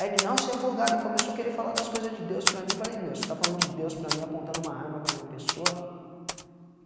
Aí ele não, você é folgado, e começou a querer falar das coisas de Deus para mim e falei, meu, você tá falando de Deus para mim apontando uma arma para minha pessoa?